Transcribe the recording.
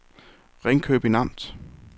Ringkøbing Amt